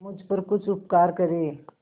मुझ पर कुछ उपकार करें